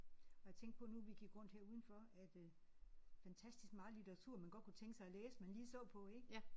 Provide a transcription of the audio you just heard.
Og jeg tænkte på nu vi gik rundt her udenfor at øh fantastisk meget litteratur man godt kunne tænke sig at læse man lige så på ik